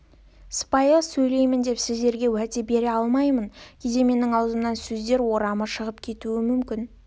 сыпайы сөйлеймін деп сіздерге уәде бере алмаймын кейде менің аузымнан сөздер орамы шығып кетуі мүмкін